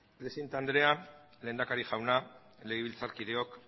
presidente andrea lehendakari jauna legebiltzarkideok